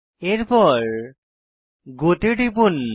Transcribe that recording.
এরপর গো তে টিপুন